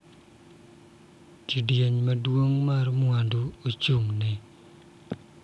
Kidieny maduong� mar mwandu ochung�ne.